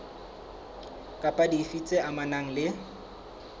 kapa dife tse amanang le